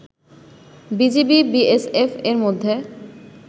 BGB-BSF এর মধ্যে